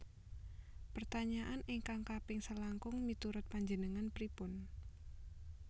Pertanyaan ingkang kaping selangkung miturut panjenengan pripun?